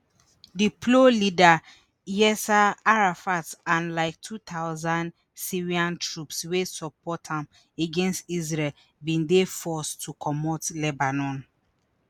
di plo leader yasser arafat and like two thousand syrian troops wey support am against israel bin dey forced to comot lebanon